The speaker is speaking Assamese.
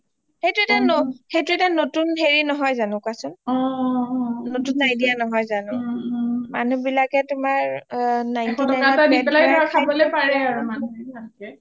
সেইটো এটা নতুন হেৰি নহয় যানো কোৱা চওন নতুন idea নহয় জানো মানু্হ বিলাকে তোমাৰ ninety nine দি পেলাই